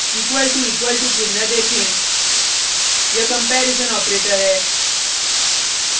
equal to equal to चिन्ह देखें यह कंपेरिजन ऑपरेटर है